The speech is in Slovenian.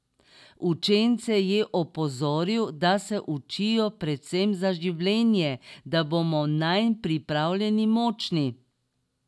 Učence je opozoril, da se učijo predvsem za življenje: "Da bomo nanj pripravljeni, močni.